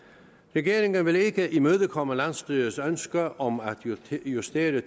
regeringen vil ikke imødekomme landsstyrets ønske om at justere